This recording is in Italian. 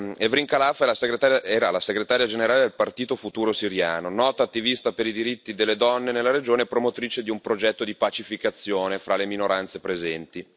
Evrin Khalaf era la segretaria generale del Partito Futuro siriano, nota attivista per i diritti delle donne nella regione e promotrice di un progetto di pacificazione fra le minoranze presenti.